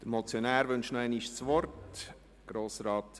Der Motionär wünscht nochmals das Wort.